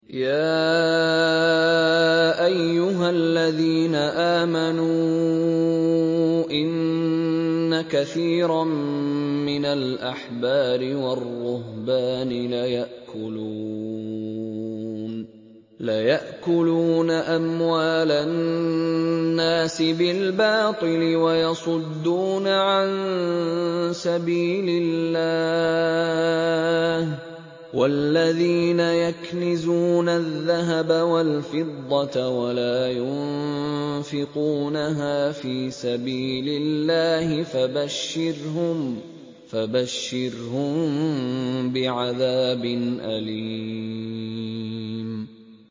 ۞ يَا أَيُّهَا الَّذِينَ آمَنُوا إِنَّ كَثِيرًا مِّنَ الْأَحْبَارِ وَالرُّهْبَانِ لَيَأْكُلُونَ أَمْوَالَ النَّاسِ بِالْبَاطِلِ وَيَصُدُّونَ عَن سَبِيلِ اللَّهِ ۗ وَالَّذِينَ يَكْنِزُونَ الذَّهَبَ وَالْفِضَّةَ وَلَا يُنفِقُونَهَا فِي سَبِيلِ اللَّهِ فَبَشِّرْهُم بِعَذَابٍ أَلِيمٍ